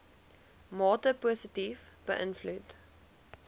mate positief beïnvloed